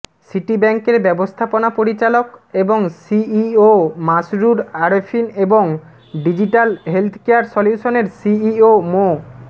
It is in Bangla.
সিটি ব্যাংকের ব্যবস্থাপনা পরিচালক এবং সিইও মাসরুর আরেফিন এবং ডিজিটাল হেলথকেয়ার সলিউশনসের সিইও মো